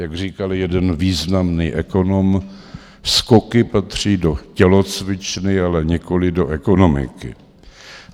Jak říkal jeden významný ekonom, skoky patří do tělocvičny, ale nikoliv do ekonomiky.